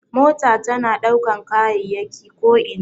Mota tana ɗaukan kayayyaki ko ina.